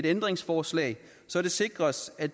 ændringsforslag så det sikres at